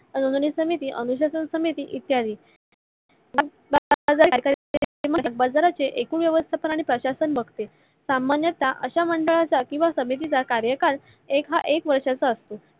अनुधानी समिती, अनुशासन समिती इत्यादी भागबाजरा चे एकूण व्यवस्थापन आणि प्रशासन बघते सामान्यता अशा समितीचा किवा मंडळाचा कार्यकाल हा एक वर्षाचा असतो.